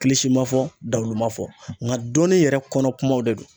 ma fɔ dawulo ma fɔ. Nga dɔnni yɛrɛ kɔnɔ kumaw de don.